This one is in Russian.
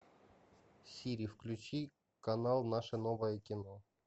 сири включи канал наше новое кино